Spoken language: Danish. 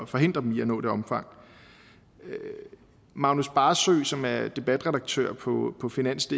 forhindrer dem i at nå det omfang magnus barsøe som er debatredaktør på på finansdk